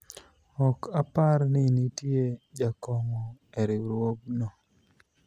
ok apar ni nitie jakong'o e riwruogno